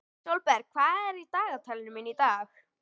Sólberg, hvað er í dagatalinu mínu í dag?